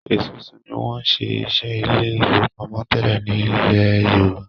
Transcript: Esusu ní wón ṣe iṣé Ilé ìfowópamọ́ tẹlẹ ní ilè yorùbá.